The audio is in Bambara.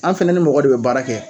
An' fɛnɛ ni mɔgɔ de bɛ baara kɛ